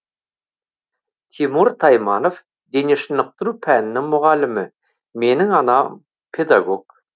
тимур тайманов дене шынықтыру пәнінің мұғалімі менің анам педагог